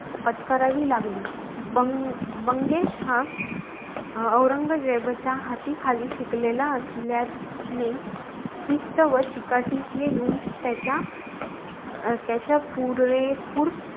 पत्करावी लागली. बंगेश हा अरंगजेबाच्या हातीखाली शिकलेला असल्याने शिस्त व चिकाटी हे गुण त्याच्या अं त्याच्या पुरेपूर,